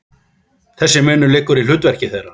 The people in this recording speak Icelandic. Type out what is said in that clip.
Þessi munur liggur í hlutverki þeirra.